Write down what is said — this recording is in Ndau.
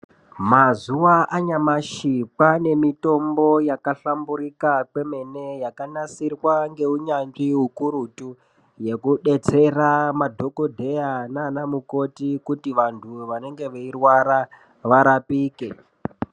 Mazuwa anyamashi kwaane mitombo yaka hlamburika kwemene yakanasirwa ngeu nyanzvi ukurutu yeku detsera ma dhokodheya naana mukoti kuti vantu vanenge vei rwara varapike.